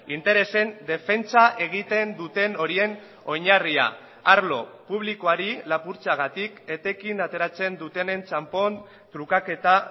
interesen defentsa egiten duten horien oinarria arlo publikoari lapurtzeagatik etekin ateratzen dutenen txanpon trukaketa